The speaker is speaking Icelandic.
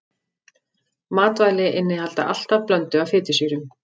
Matvæli innihalda alltaf blöndu af fitusýrum.